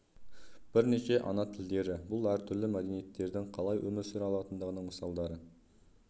бірнеше ана тілдері - бұл әртүрлі мәдениеттердің қалай өмір сүре алатындығының мысалдары